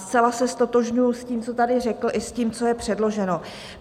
Zcela se ztotožňuji s tím, co tady řekl, i s tím, co je předloženo.